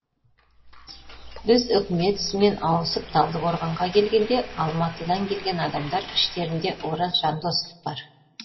біз үкімет ісімен ауысып талдықорғанға келгенде алматыдан келген адамдар іштерінде ораз жандосов бар